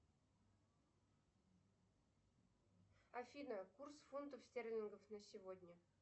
афина курс фунтов стерлингов на сегодня